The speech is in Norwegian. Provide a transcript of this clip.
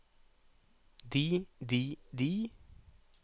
de de de